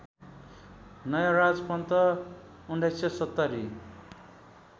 Nayaraj Pant १९७०